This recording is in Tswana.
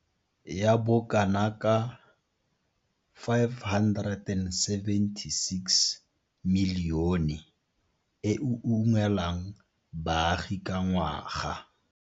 Ya bo kana ka R576 milione e e ungwelang baagi ka ngwaga.